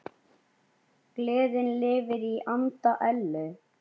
Gleðin lifir í anda Ellu.